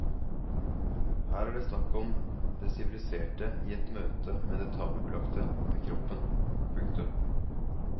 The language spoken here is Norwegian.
Her er det snakk om det siviliserte i møte med det tabubelagte ved kroppen. punktum